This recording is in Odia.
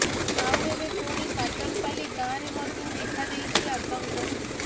ଆଉ ଏବେ ପୁଣି କାଟନପାଲ୍ଲି ଗାଁରେ ମଧ୍ୟ ଦେଖାଦେଇଛି ଆତଙ୍କ